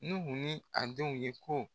Nuhu ni a denw ye ko